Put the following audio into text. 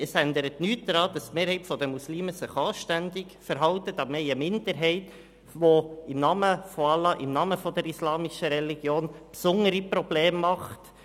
Das ändert nichts daran, dass die sich die Mehrheit der Muslime anständig verhält, aber wir haben eine Minderheit, die im Namen von Allah und im Namen der islamischen Religion besondere Probleme macht.